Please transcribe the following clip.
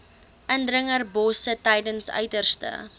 indringerbosse tydens uiterste